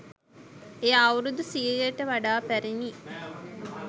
එය අවුරුදු සියයට වඩා පැරිණි